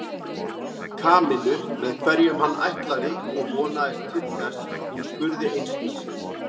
Kamillu með hverjum hann ætlaði og vonaðist til þess að hún spurði einskis.